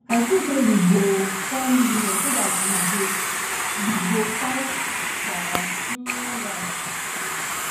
i think say we go um form union so dat we go dat we go fight for our um righs